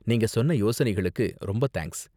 நீங்க சொன்ன யோசனைகளுக்கு ரொம்ப தேங்க்ஸ்.